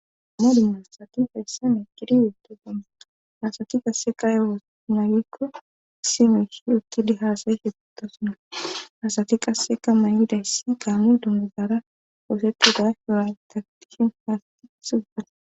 Amadina aasati hayssame giriweeto gana hasati qasse ka ewomaagikko sime shi ukkidi haasayi shitutasuna hasati qasseka mayidayssi kaamu dundugara oofettida hiwan tatihin haasti sugane.